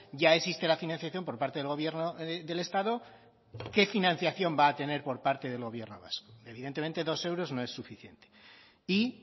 ya existe la financiación por parte del gobierno del estado qué financiación va a tener por parte del gobierno vasco evidentemente dos euros no es suficiente y